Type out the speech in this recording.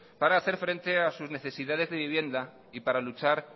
para hacer frente a sus necesidades de vivienda y para luchar